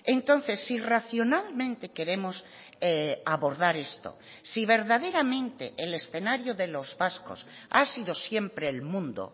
entonces si racionalmente queremos abordar esto si verdaderamente el escenario de los vascos ha sido siempre el mundo